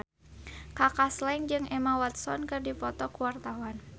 Kaka Slank jeung Emma Watson keur dipoto ku wartawan